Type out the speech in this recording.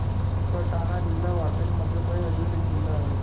सटाणा जिल्हा भारतातील मध्य प्रदेश राज्यातील एक जिल्हा आहे.